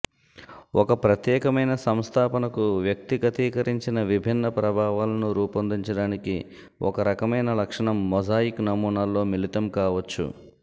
ఒక ప్రత్యేకమైన సంస్థాపనకు వ్యక్తిగతీకరించిన విభిన్న ప్రభావాలను రూపొందించడానికి ఒక రకమైన లక్షణం మొజాయిక్ నమూనాల్లో మిళితం కావచ్చు